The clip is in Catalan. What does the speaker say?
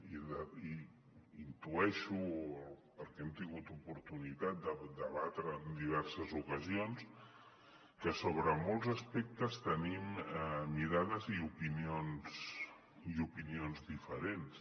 i intueixo perquè hem tingut oportunitat de debatre ho en diverses ocasions que sobre molts aspectes tenim mirades i opinions diferents